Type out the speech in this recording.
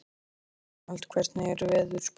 Dómald, hvernig er veðurspáin?